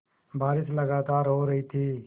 बारिश लगातार हो रही थी